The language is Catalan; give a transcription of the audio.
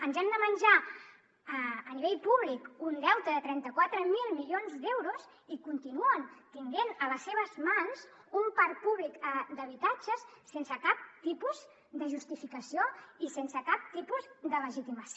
ens hem de menjar en l’àmbit públic un deute de trenta quatre mil milions d’euros i continuen tenint a les seves mans un parc públic d’habitatges sense cap tipus de justificació i sense cap tipus de legitimació